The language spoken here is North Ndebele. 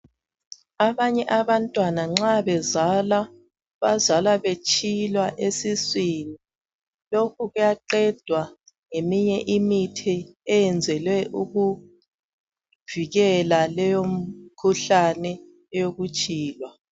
Abanye abantwana nxa bezalwa, bazalwa betshilwa esiswini lokhu kuyaqedwa ngeminye imithi eyenzelwe ukuvikela leyo mikhuhlane eyokutshilwa.